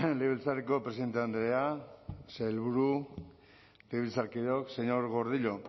legebiltzarreko presidente andrea sailburu legebiltzarkideok señor gordillo